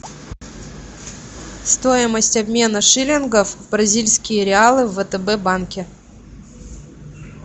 стоимость обмена шиллингов в бразильские реалы в втб банке